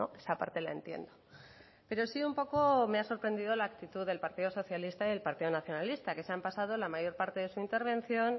esa parte la entiendo pero sí un poco me ha sorprendido la actitud del partido socialista y el partido nacionalista que se han pasado la mayor parte de su intervención